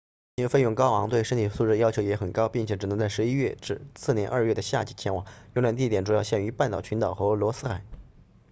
旅行费用高昂对身体素质要求也很高并且只能在十一月至次年二月的夏季前往游览地点主要限于半岛群岛和罗斯海